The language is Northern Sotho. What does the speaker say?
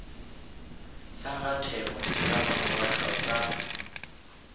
sa gathema sa gamogashoa sa